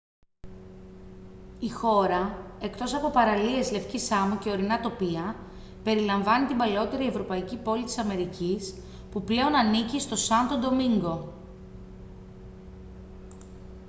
η χώρα εκτός από παραλίες λευκής άμμου και ορεινά τοπία περιλαμβάνει την παλαιότερη ευρωπαϊκή πόλη της αμερικής που πλέον ανήκει στο σάντο ντομίνγκο